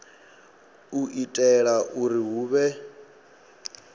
u itela uri hu vhe